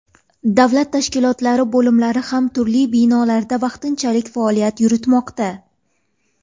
Davlat tashkilotlari bo‘limlari ham turli binolarda vaqtinchalik faoliyat yuritmoqda.